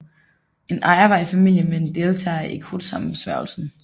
En ejer var i familie med en deltager i Krudtsammensværgelsen